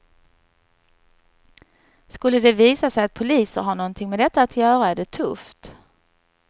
Skulle det visa sig att poliser har någonting med detta att göra är det tufft.